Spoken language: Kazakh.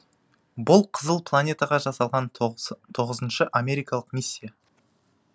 бұл қызыл планетаға жасалған тоғызыншы америкалық миссия